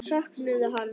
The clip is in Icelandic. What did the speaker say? Söknuðu hans.